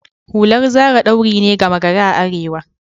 Hular Zara ɗauri ne gama gari a arewa